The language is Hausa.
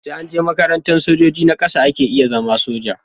Sai anje makarantar sojoji na ƙasa ake iya zama soja